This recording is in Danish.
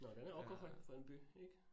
Nåh den er o k høj for en by ik?